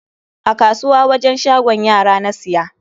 A kasuwa wajen shagon kayan yara na siya.